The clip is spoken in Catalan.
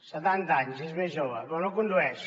setanta anys és més jove però no condueix